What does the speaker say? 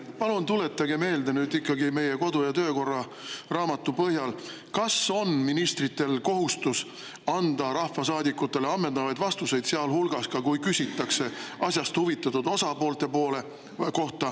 Palun tuletage nüüd ikkagi meie kodu- ja töökorra raamatu põhjal meelde, kas on ministritel kohustus anda rahvasaadikutele ammendavaid vastuseid, sealhulgas ka siis, kui küsitakse asjast huvitatud osapoolte kohta?